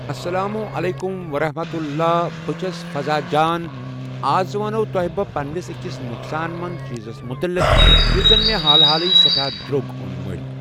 السلام عليكم ورحمة الله بہٕ چھس فضا جان تہٕ آز ونہو تۄہہِ بہٕ پنٕنِس أکِس نۄقصان منٛد چیٖزس مُتعلق یُس زن مےٚ حالہٕ حالٕے سٮ۪ٹھاہ درٛوگ اوٚن مٔلۍ